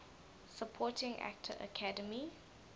supporting actor academy